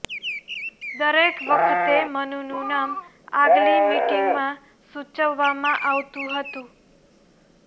દરેક વખતે મનુનું નામ આગલી મીટિંગમાં સૂચવવામાં આવતું હતું